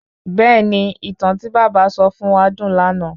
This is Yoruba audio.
Bẹ̀ẹ́ni, ìtàn tí bàbá sọ fún wa dùn lànà